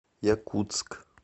якутск